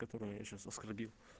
которое я сейчас оскорбил